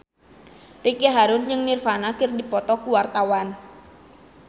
Ricky Harun jeung Nirvana keur dipoto ku wartawan